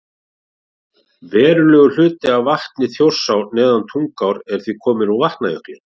Verulegur hluti af vatni Þjórsár neðan Tungnaár er því kominn úr Vatnajökli.